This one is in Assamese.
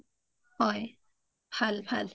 হয় ভাল ভাল